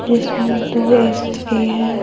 जिसमें दो स्त्री है।